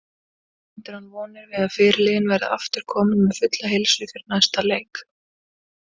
Bindur hann vonir við að fyrirliðinn verði aftur kominn með fulla heilsu fyrir næsta leik.